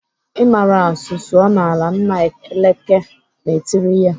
"I mara asụ sụọ n'ala!" Nna Eleke na-etiri ya.